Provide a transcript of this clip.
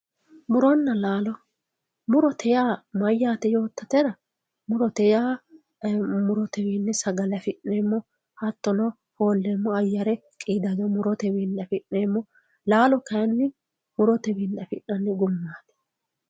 muronna laalo murote yaa mayyaate yoottotera murote yaa murotewiinni sagale afi'neemmo hattono foolleemmo ayyare qiidado murote wiinni afi'neemmo laalo kayiinni murotewiinni afi'nanni gumaati